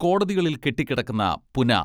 കോടതികളിൽ കെട്ടിക്കിടക്കുന്ന പുനഃ